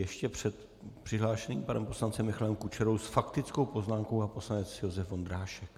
Ještě před přihlášeným panem poslancem Michalem Kučerou s faktickou poznámkou pan poslanec Josef Vondrášek.